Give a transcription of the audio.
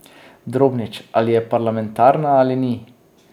Drobnič: 'Ali je parlamentarna ali ni...